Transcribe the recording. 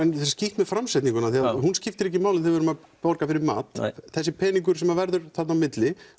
skítt með framsetningu hún skiptir ekki máli þegar við erum að borga fyrir mat þessi peningur sem verður þarna á milli